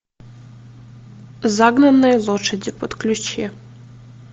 загнанные лошади подключи